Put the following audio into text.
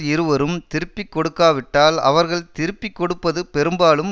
இருவரும் திருப்பிக்கொடுக்காவிட்டால் அவர்கள் திருப்பிக்கொடுப்பது பெரும்பாலும்